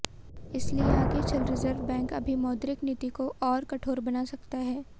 इसलिए आगे चल रिजर्व बैंक अभी मौद्रिक नीति को और कठोर बना सकता है